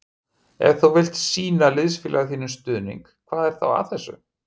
Ef þú vilt sýna liðsfélaga þínum stuðning hvað er þá að þessu?